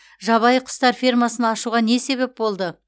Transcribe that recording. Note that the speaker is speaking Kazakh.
жабайы құстар фермасын ашуға не себеп болды